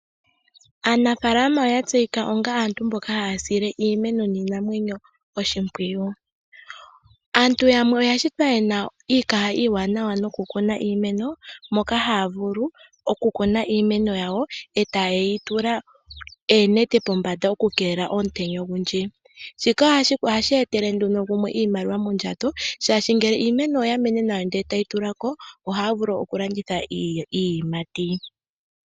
Aanafaalama oya tseyika onga aantu mboka haya sile iimeno niinamwenyo oshimpwiyu. Aantu yamwe oya shitwa yena iikaha iiwanawa noku kuna iimeno, moka haya vulu oku kuna iimeno yawo e taye yi tula oonete pombanda oku keelela omutenya ogundji. Shika ohashi etele nduno gumwe iimaliwa mondjato, shaashi ngele iimeno oya mene nawa ndele tayi tula ko ohaya vulu oku landitha iiyimati.